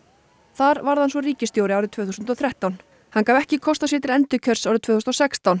þar varð hann svo ríkisstjóri árið tvö þúsund og þrettán hann gaf ekki kost á sér til endurkjörs árið tvö þúsund og sextán